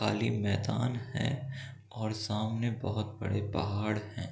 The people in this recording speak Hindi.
खाली मैदान है और सामने बहुत बड़े पहाड़ हैं ।